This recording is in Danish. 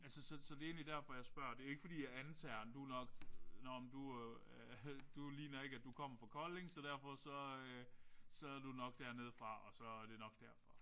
Altså så så det er egentlig derfor jeg spørger. Det er ikke fordi jeg antager du er nok nåh du du ligner ikke at du kommer fra Kolding så derfor så så du er nok dernede fra og så er det nok derfor